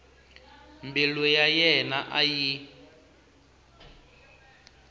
mbilu ya yena a yi